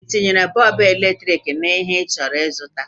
ị tinyere bọọbụ eletriki na ndepụta ihe ịchọrọ ịzụta?